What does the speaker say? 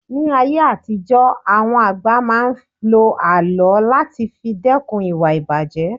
Ní ayé àtijó àwọn àgbà máa ń ló àlọ́ láti fi dẹ́kun ìwà ìbàjé